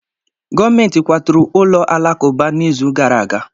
Gọọmentị kwaturu ụlọ alakụba n'izu gara aga